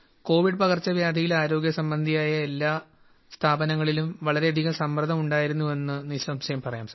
Covid പകർച്ചവ്യാധിയിൽ ആരോഗ്യസംബന്ധിയായ എല്ലാ സ്ഥാപനങ്ങളിലും വളരെയധികം സമ്മർദ്ദമുണ്ടായിരുന്നുവെന്ന് നിസംശയം പറയാം